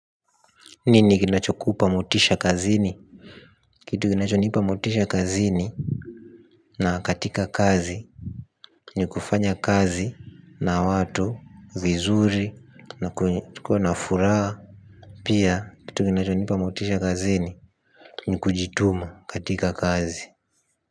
Nini kinacho kupamotisha kazini? Kitu kinachonipa motisha kazini na katika kazi ni kufanya kazi na watu, vizuri, na kuwa na furaa. Pia kitu kinachonipa motisha kazini, ni kujituma katika kazi.